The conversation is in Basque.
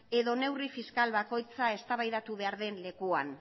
edo neurri fiskal bakoitza eztabaidatu behar den lekuan